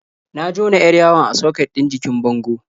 Na jona 'yar yawon a soket ɗin jikin bango.